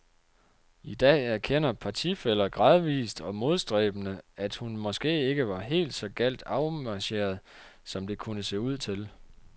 I dag erkender partifæller gradvist og modstræbende, at hun måske ikke var helt så galt afmarcheret, som det kunne se ud til.